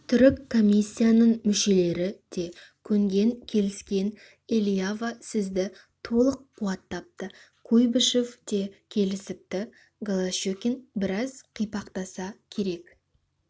түрік комиссияның мүшелері де көнген келіскен элиава сізді толық қуаттапты куйбышев те келісіпті голощекин біраз қипақтаса керек